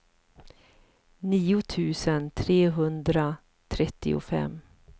nio tusen trehundratrettiofem